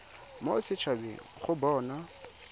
mo set habeng go bona